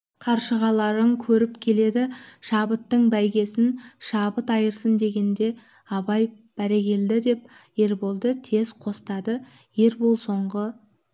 қаршығаларың көріп келеді шабыттың бәйгесін шабыт айырсын дегенде абай бәрекелде деп ерболды тез қостады ербол соңғы